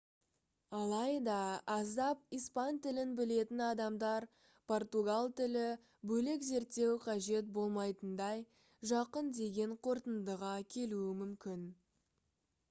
алайда аздап испан тілін білетін адамдар португал тілі бөлек зерттеу қажет болмайтындай жақын деген қорытындыға келуі мүмкін